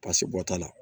Basi bɔ t'a la